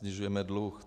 Snižujeme dluh.